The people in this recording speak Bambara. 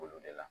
Olu de la